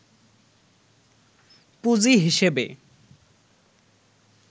পুঁজি হিসেবে